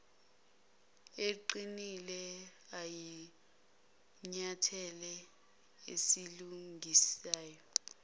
eqinileyo iyisinyathelo esilungisayo